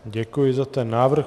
Děkuji za ten návrh.